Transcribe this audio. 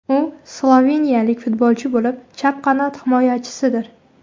U sloveniyalik futbolchi bo‘lib, chap qanot himoyachisidir.